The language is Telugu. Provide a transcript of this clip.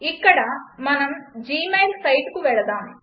ఇక్కడ మనం జీమెయిల్ సైట్కు వెళ్దాం